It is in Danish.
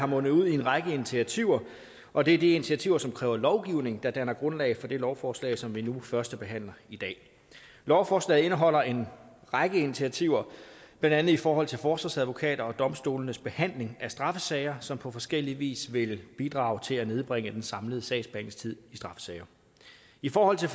mundet ud i en række initiativer og det er de initiativer som kræver lovgivning der danner grundlag for det lovforslag som vi nu førstebehandler i dag lovforslaget indeholder en række initiativer blandt andet i forhold til forsvarsadvokater og domstolenes behandling af straffesager som på forskellig vis vil bidrage til at nedbringe den samlede sagsbehandlingstid i straffesager i forhold til